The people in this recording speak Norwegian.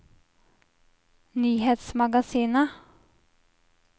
nyhetsmagasinet